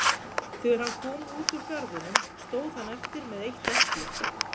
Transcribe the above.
þegar hann kom út úr garðinum stóð hann eftir með eitt epli